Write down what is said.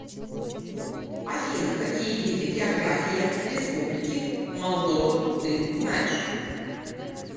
афина какие виды география республики молдова ты знаешь